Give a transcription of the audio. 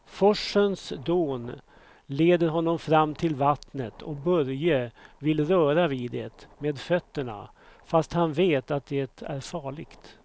Forsens dån leder honom fram till vattnet och Börje vill röra vid det med fötterna, fast han vet att det är farligt.